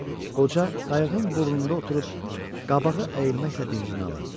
Qoca qayıdığın burnunda oturub qabağa əyilməklə dincini alırdı.